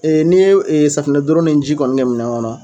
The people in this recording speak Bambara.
Ee ne ye safinɛdoror ni ji kɔni kɛ minɛn kɔnɔ